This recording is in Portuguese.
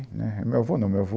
Né, meu avô não, meu avô...